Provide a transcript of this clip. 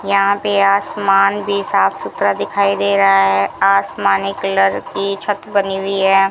यहां पे आसमान भी साफ सुथरा दिखाई दे रहा है आसमानी कलर की छत बनी हुई है।